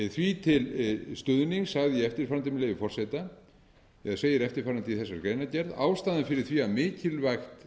því til stuðnings sagði ég eftirfarandi með leyfi forseta eða segir eftirfarandi í þessari greinargerð ástæðan fyrir því að mikilvægt